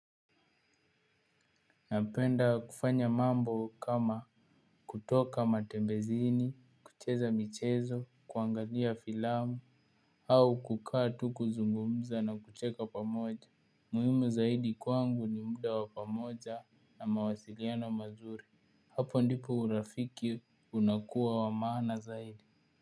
Napenda kufanya mambo kama kutoka matembezini, kucheza michezo, kuangalia filamu, au kukaa tu kuzungumza na kucheka pamoja. Muhimu zaidi kwangu ni muda wa pamoja na mawasiliano mazuri. Hapo ndipo urafiki unakuwa wa maana zaidi.